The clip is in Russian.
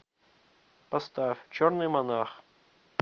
поставь черный монах